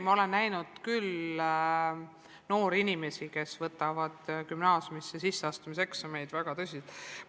Ma olen näinud küll noori inimesi, kes võtavad gümnaasiumisse sisseastumise eksameid väga tõsiselt.